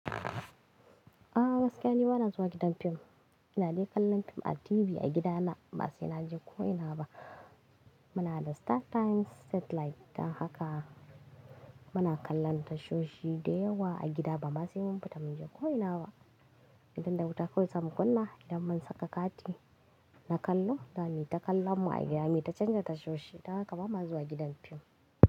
Ah gaskiya ni bana zuwa gidan fim. Ina dai kallon fim a TV a gida na. Ba sai na je ko ina ba. Muna da Startimes satellite don haka muna kallon tashoshi dayawa a gida ba ma sai mun fita mun je ko ina ba. Idan da wuta kawai zamu kunna idan mun saka kati na kallo, zamuyi ta kallan mu a gida. Muyi ta canja tashoshi. Don haka bama zuwa gidan fim.